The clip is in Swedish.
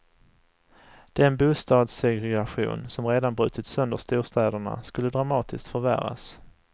Den bostadssegregation som redan brutit sönder storstäderna skulle dramatiskt förvärras.